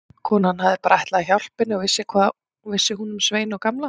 Konan hafði bara ætlað að hjálpa henni og hvað vissi hún um Svein og Gamla.